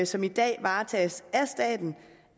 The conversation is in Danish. som i dag varetages af staten